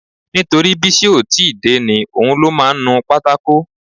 Nítorí Bísí ó ti ì dé ni. Òun ló máa ń nu pátákò